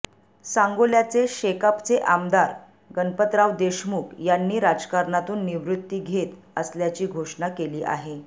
सांगोल्याचे शेकापचे आमदार गणपतराव देशमुख यांनी राजकारणातून निवृत्ती घेत असल्याची घोषणा केली आहे